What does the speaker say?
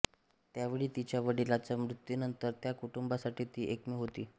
त्यावेळी तिच्या वडिलाच्या मृत्यूनंतर त्या कुटुंबासाठी ती एकमेव होती